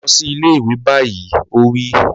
Lọ sí ilé ìwé báyìí! Ó wí.